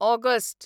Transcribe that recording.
August